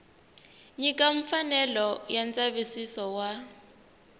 nyika mfanelo ya ndzavisiso wa